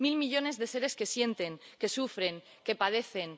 Mil millones de seres que sienten, que sufren, que padecen.